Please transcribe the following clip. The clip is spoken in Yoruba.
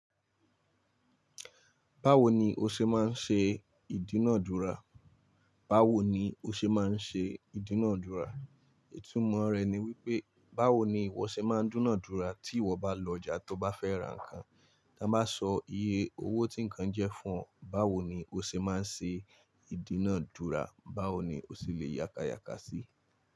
Báwo ni o ṣe máa ń ṣe ìdúnàádúrà? Báwo ni o ṣe máa ń ṣe ìdúnàádúrà? Ìtúmọ̀ rẹ̀ ni wípé, báwo ni ìwọ ṣe máa ń dúnàádúrà tí ìwọ bá lọ ọjà tó bá fẹ́ ra nǹkan, ti won bá sọ iye owó tí ǹkan jẹ́ fún ọ, báwo ni o ṣe máa ń ṣe ìdúnàádúrà? Báwo ni o ṣe lè yákàyákà sí i?